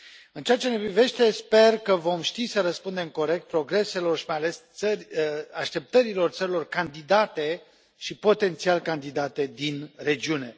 În ceea ce ne privește, sper că vom ști să răspundem corect progreselor și, mai ales, așteptărilor țărilor candidate și potențial candidate din regiune.